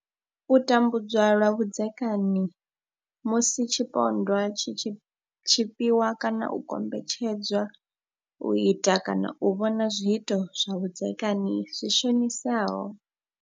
U tambudzwa lwa vhudzekani musi tshipondwa tshi tshi tshipiwa kana u kombetshedzwa u ita kana u vhona zwiito zwa vhudzekani zwi shonisaho.